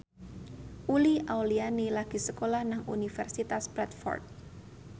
Uli Auliani lagi sekolah nang Universitas Bradford